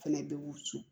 Fɛnɛ bɛ woson